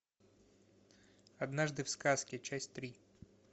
однажды в сказке часть три